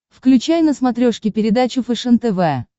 включай на смотрешке передачу фэшен тв